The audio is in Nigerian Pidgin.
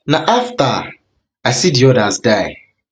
na afta i see di odas die na